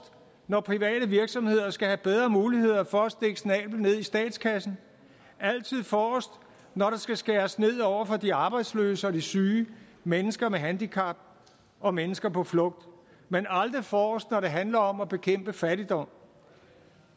når private virksomheder skal have bedre muligheder for at stikke snablen ned i statskassen altid forrest når der skal skæres ned over for de arbejdsløse og de syge mennesker med handicap og mennesker på flugt men aldrig forrest når det handler om at bekæmpe fattigdom